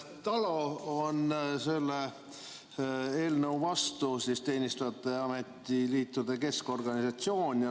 TALO on selle eelnõu vastu, Teenistujate Ametiliitude Keskorganisatsioon.